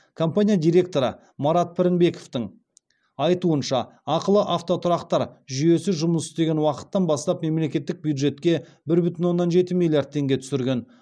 компания директоры марат пірінбековтің айтуынша ақылы автотұрақтар жүйесі жұмыс істеген уақыттан бастап мемлекеттік бюджетке бір бүтін оннан жеті миллиард теңге түсірген